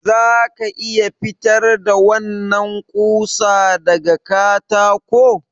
Za ka iya fitar da wannan ƙusa daga katako?